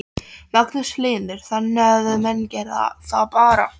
Magnús Hlynur: Þannig að menn gera það bara?